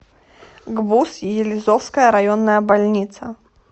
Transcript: гбуз елизовская районная больница